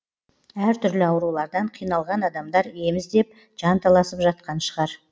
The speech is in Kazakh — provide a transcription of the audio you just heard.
әртүрлі аурулардан қиналған адамдар ем іздеп жанталасып жатқан шығар